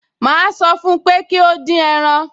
Màá sọ fún pé kí ó dín ẹran